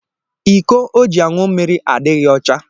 Iko ọ ji añụ mmiri adịghị ọcha